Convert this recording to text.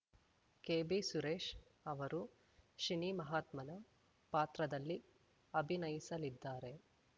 ಕೆಬಿಸುರೇಶ್ ಅವರು ಶಿನಿ ಮಹಾತ್ಮನ ಪಾತ್ರದಲ್ಲಿ ಅಭಿನಯಿಸಲಿದ್ದಾರೆ